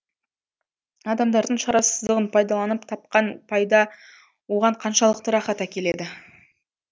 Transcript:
адамдардың шарасыздығын пайдаланып тапқан пайда оған қаншалықты рахат әкеледі